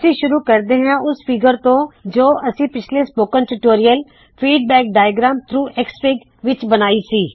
ਅਸੀ ਸ਼ੁਰੁ ਕਰਦੇ ਹਾ ਉਸ ਫ਼ੀਗਰ ਤੋ ਜੋ ਅਸੀ ਪਿੱਛਲੇ spoken tutorial feedback diagrams through XFIG ਵਿੱਚ ਬਣਾਈ ਸੀ